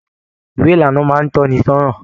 Ìwé ìlànà máa n tọ ní sọnà.